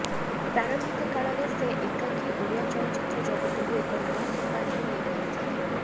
ପ୍ରାରମ୍ଭିକ କାଳରେ ସେ ଏକାକି ଓଡ଼ିଆ ଚଳଚ୍ଚିତ୍ର ଜଗତକୁ ଏକ ନୂଆ ସୋପାନକୁ ନେଇ ପାରିଥିଲେ